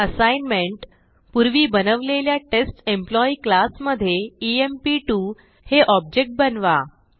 assignment पूर्वी बनवलेल्या test employee class मधे ईएमपी2 हे ऑब्जेक्ट बनवा